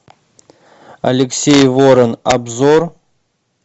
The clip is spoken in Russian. алексей ворон обзор